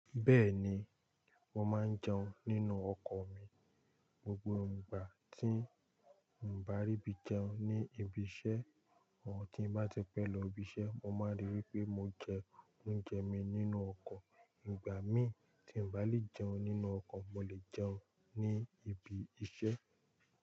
Bẹ́ẹ̀ni, mo máa ń jẹun nínú ọkọ̀ mi. Gbogbo ìgbà tí n bá rí bí jẹun ní ibi iṣẹ́, àwọn tí n bá ti pẹ́ lọ ibi iṣẹ́, mo máa ríi pé mo jẹ oúnjẹ mi nínú ọkọ̀. Ìgbà mí tí n bá lè jẹun nínú ọkọ̀, mo lè jẹun ní ibi iṣẹ́.